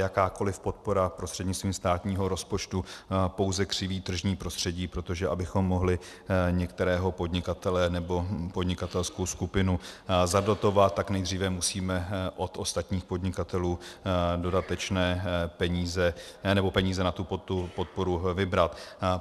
Jakákoli podpora prostřednictvím státního rozpočtu pouze křiví tržní prostředí, protože abychom mohli některého podnikatele nebo podnikatelskou skupinu zadotovat, tak nejdříve musíme od ostatních podnikatelů dodatečné peníze, nebo peníze na tu podporu vybrat.